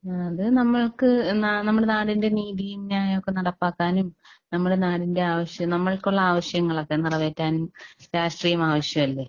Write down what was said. അത് നമ്മൾക്ക് നാ നമ്മുടെ നാടിന്റെ നീതിയും ന്യായം ഒക്കെ നടപ്പാക്കാനും നമ്മുടെ നാടിന്റെ ആവശ്യം നമ്മൾക്കുള്ള ആവശ്യങ്ങളൊക്കെ നിറവേറ്റാനും രാഷ്ട്രീയം ആവശ്യമല്ലേ?